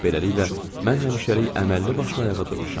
Beləliklə, mən həmişəlik əməlli başlı ayağa durmuşam.